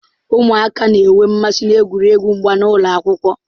Ụmụaka na-enwe mmasị n'egwuregwu mgba n'ụlọ akwụkwọ.